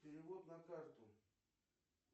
перевод на карту